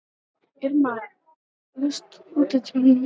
Irma, læstu útidyrunum.